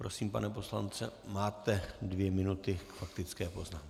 Prosím, pane poslanče, máte dvě minuty k faktické poznámce.